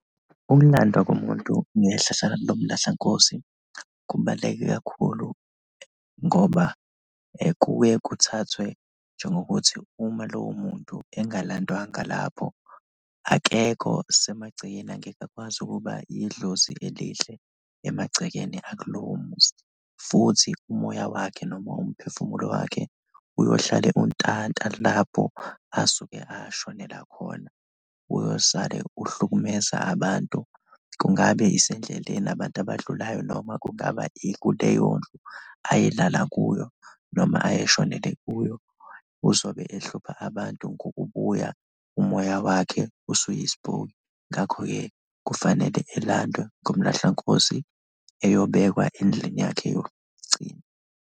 Ukulandwa kumuntu ngehlala lomlahlankosi kubaluleke kakhulu ngoba kuye kuthathwe njengokuthi uma lowo muntu engalandwanga lapho, akekho semagcekeni, angeke akwazi ukuba idlozi elihle emagcekeni akulowo muzi futhi umoya wakhe noma umphefumulo wakhe uyohlale untanta lapho asuke ashonela khona, uyosale uhlukumeza abantu. Kungabe isendleleni, abantu abadlulayo noma kungaba ikuleyondlu ayelala kuyo noma ayeshonele kuyo? Uzobe ehlupha abantu ngokubuya umoya wakhe usuyispoki, ngakho-ke kufanele elandwe ngomlahlankosi eyobekwa endlini yakhe yokugcina.